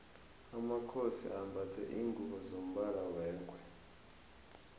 amakhosi ambatha lingubo zombala wengwe